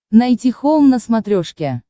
найти хоум на смотрешке